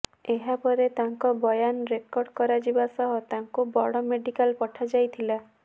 ଏହାପରେ ତାଙ୍କ ବୟାନ ରେକର୍ଡ କରାଯିବା ସହ ତାଙ୍କୁ ବଡ ମେଡିକାଲ ପଠାଯାଇଥିଲା